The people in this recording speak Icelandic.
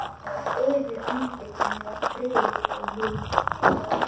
Yfir andlitinu var friður og mildi.